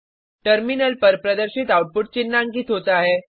terminal पर प्रदर्शित output चिन्हांकित होता है